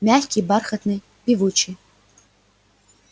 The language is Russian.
мягкий бархатный певучий